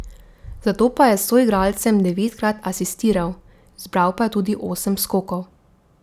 Zato pa je soigralcem devetkrat asistiral, zbral pa je tudi osem skokov.